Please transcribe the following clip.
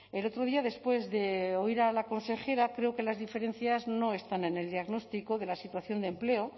el otro día después de oír a la consejera creo que las diferencias no están en el diagnóstico de la situación de empleo